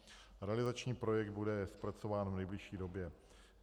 Realizační projekt bude zpracován v nejbližší době.